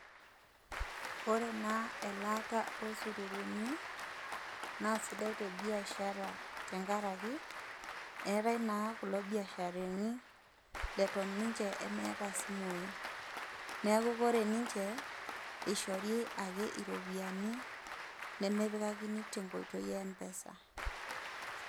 Ore na elaata osuruni na sidai tebiashara tenkaraki eetae na kulo biasharani naata ninche meetae isimui neaku kore ninche ishori ake ropiyiani nemepikakini tenkoitoi e empesa.